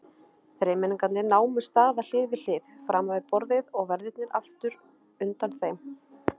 Þremenningarnir námu staðar hlið við hlið framan við borðið og verðirnir aftur undan þeim.